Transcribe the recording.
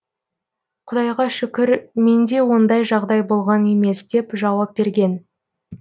құдайға шүкір менде ондай жағдай болған емес деп жауап берген